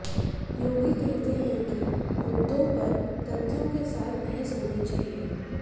योगी कहते हैं की मुद्दों पर तथ्यों के साथ बहस होनी चाहिए